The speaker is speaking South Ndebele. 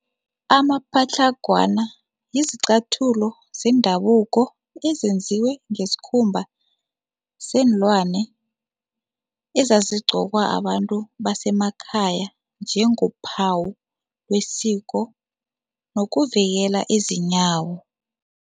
Amapatlagwana yizicathulo zendabuko ezenziwe ngesikhumba seenlwane ezazigqokwa babantu basemakhaya njengophawu lwesiko nokuvikela izinyawo.